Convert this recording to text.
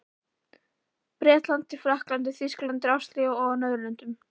Bretlandi, Frakklandi, Þýskalandi, Ástralíu og á Norðurlöndum.